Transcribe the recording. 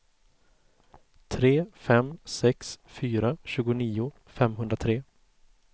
tre fem sex fyra tjugonio femhundratre